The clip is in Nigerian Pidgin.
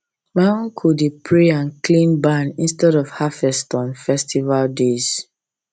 my uncle dey pray and clean barn instead of harvest on festival days